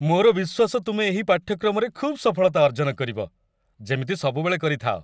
ମୋର ବିଶ୍ୱାସ ତୁମେ ଏହି ପାଠ୍ୟକ୍ରମରେ ଖୁବ୍ ସଫଳତା ଅର୍ଜନ କରିବ, ଯେମିତି ସବୁବେଳେ କରିଥାଅ।